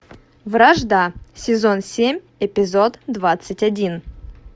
вражда сезон семь эпизод двадцать один